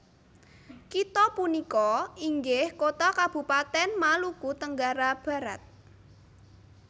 Kitha punika inggih kota kabupaten Maluku Tenggara Barat